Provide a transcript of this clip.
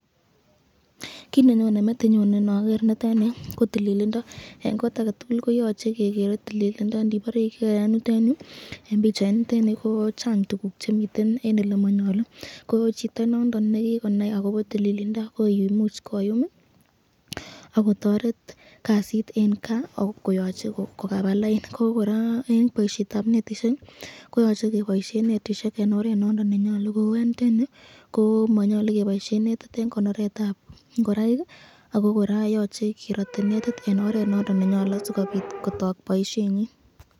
Kit nenyone metinyun inoger nitoni ko tililindo, eng kot ake tukul koyache kekere tililindo, eng pichait nitenu ko Chang tukuk chemiten elemanyalu, chito nondon nekikonai akobo tililindo koyumi akotaret kasit eng ka koba laini, kora boisyetab netisyek koyache keboisyen eng oret nondon nenyolu, kou eng yutenyu komanyalu keboisyen netit eng konoretab ingoraik ako yoche kerote netit eng oret nondon nenyalu sikobit kotok boisyenyin.